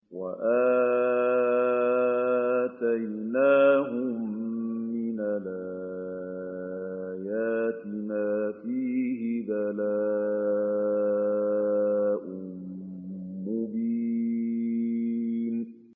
وَآتَيْنَاهُم مِّنَ الْآيَاتِ مَا فِيهِ بَلَاءٌ مُّبِينٌ